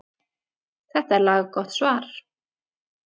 Þetta er laggott svar.